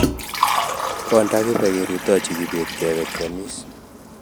konda kibe kerutochi kibet kebe keamis